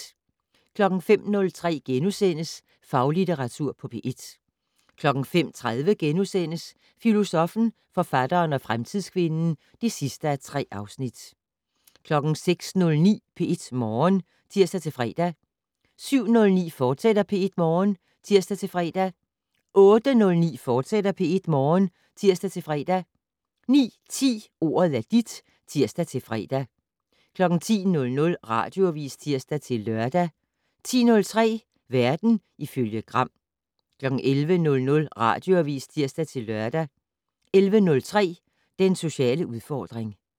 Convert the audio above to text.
05:03: Faglitteratur på P1 * 05:30: Filosoffen, forfatteren og fremtidskvinden (3:3)* 06:09: P1 Morgen (tir-fre) 07:09: P1 Morgen, fortsat (tir-fre) 08:09: P1 Morgen, fortsat (tir-fre) 09:10: Ordet er dit (tir-fre) 10:00: Radioavis (tir-lør) 10:03: Verden ifølge Gram 11:00: Radioavis (tir-lør) 11:03: Den sociale udfordring